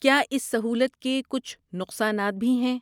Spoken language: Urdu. کیا اس سہولت کے کچھ نقصانات بھی ہیں؟